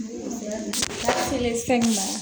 Ala kelen sa ma